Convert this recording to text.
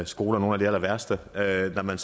skoler nogle af de allerværste da man